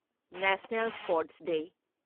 national sports day